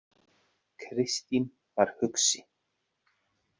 Kristín var hugsi.